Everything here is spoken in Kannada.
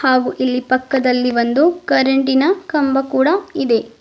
ಹಾಗು ಇಲ್ಲಿ ಪಕ್ಕದಲ್ಲಿ ಒಂದು ಕರೆಂಟಿ ನ ಕಂಬ ಕೂಡ ಇದೆ.